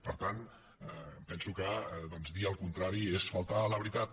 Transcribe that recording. per tant em penso que doncs dir el contrari és faltar a la veritat